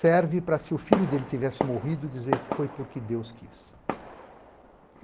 Serve para se o filho dele tivesse morrido e dizer Foi porque Deus quis.